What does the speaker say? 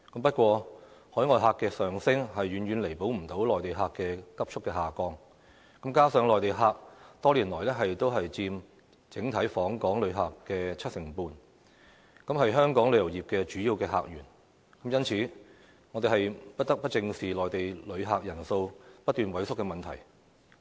不過，海外旅客的上升，遠遠無法彌補內地旅客的急速下降，加上內地旅客多年來都佔整體訪港旅客約七成半，是香港旅遊業的主要客源，因此我們不得不正視內地旅客人數不斷萎縮的問題。